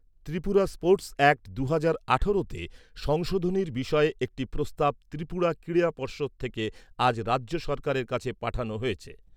Tripura sports act দুহাজার আঠারোতে সংশোধনীর বিষয়ে একটি প্রস্তাব ত্রিপুরা ক্রীড়া পর্ষদ থেকে আজ রাজ্য সরকারের কাছে পাঠানো হয়েছে।